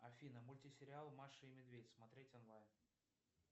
афина мультисериал маша и медведь смотреть онлайн